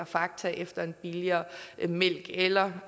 fakta efter en billigere mælk eller